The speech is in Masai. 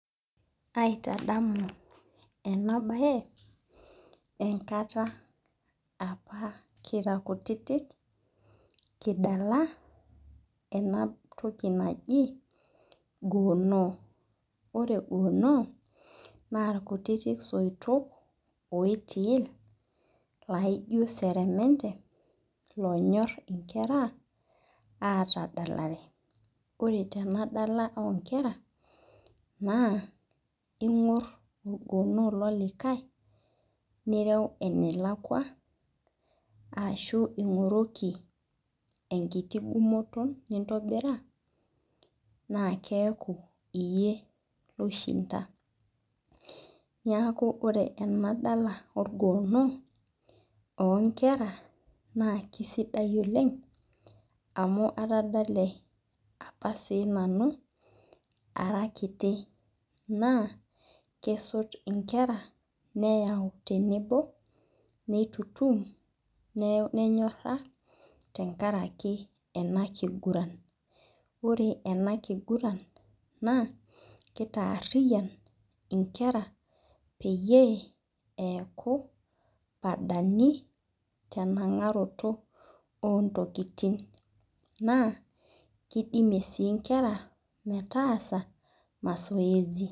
Aitadamu ena bae enkata apa kira kutitik kidala ena toki naji goono, Ore goono naa irkutitik soitok loitil laijo seremente loonyok nkera aatadalare ,Ore tenadala onkera naa ingor orgoono lolikae nireu enelakwa ashu ingoroki enkiti ngumoto nintobira naa keeku iyie loishinda. Neeku ore enadala orgoono onkera ,naa keisidai oleng amu tadale apa sii nanu ara kiti ,naa kesot nkera nayau tenebo ,neitutum nenyora tenkaraki ena kiguran. Ore enakiguran naa kitaariyian nkera peyie eku padani tenangaroto ontokiting ,naa kidimi sii nkera metaasa masoesi.